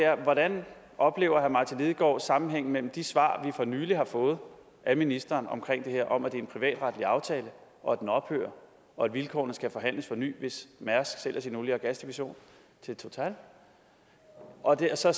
er hvordan oplever herre martin lidegaard sammenhængen mellem de svar vi for nylig har fået af ministeren om det her om at det er en privatretlige aftale og at den ophører og at vilkårene skal forhandles på ny hvis mærsk sælger sin olie og gasdivision til total hvordan ser